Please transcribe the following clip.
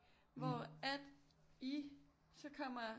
Hvor at I så kommer